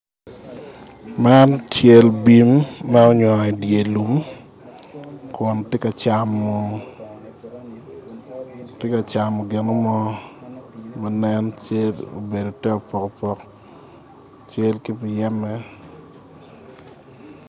Man cal bim ma onyongo i dyer lum kun tye ka camo gino mo ma nen cal obedo te opok opok cal ki muyeme